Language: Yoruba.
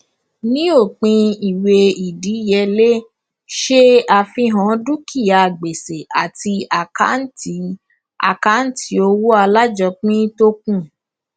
ní òpin ìwé ìdíyelé ṣe àfihàn dúkìá gbèsè àti àkâǹtì àkâǹtì owó alájọpín tó kù